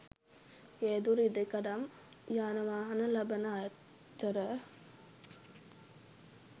ගේදොර ඉඩකඩම් යානවාහන ලබන අතර